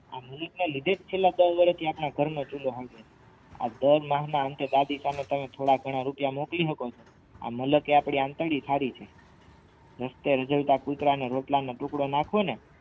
આ લીધેજ આપણા દસ વરસથી ઘરનો ચૂલો સળગે આ થોડાઘના રૂપિયા મોકલી સકો ને આ મલક એ અપડી આતરડી સારી છે પૂતળાને રોટલાનો ટુકડો નાખુ ને